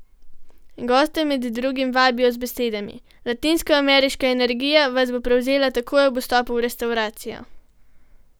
Goste med drugim vabijo z besedami: "Latinsko ameriška energija vas bo prevzela takoj ob vstopu v restavracijo.